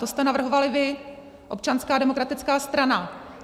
To jste navrhovali vy, Občanská demokratická strana.